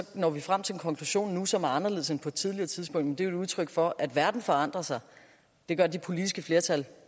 når vi frem til en konklusion nu som er anderledes end den på et tidligere tidspunkt men det er et udtryk for at verden forandrer sig det gør de politiske flertal